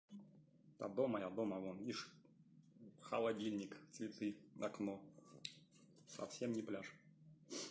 да дома я дома вон видишь холодильник цветы окно совсем не пляж